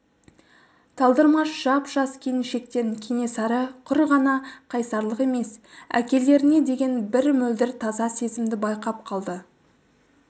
талдырмаш жап-жас келіншектен кенесары құр ғана қайсарлық емес әкелеріне деген бір мөлдір таза сезімді байқап қалды